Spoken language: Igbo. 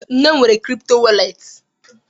Nne m nwere kripto wọrlet.